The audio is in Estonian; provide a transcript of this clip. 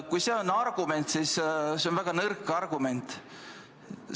Kui see on argument, siis see on väga nõrk argument.